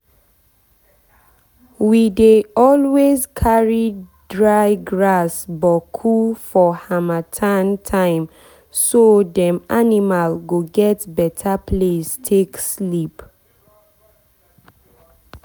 we dey always carry dry grass boku for harmattan timeso dem animal go get beta place take sleep.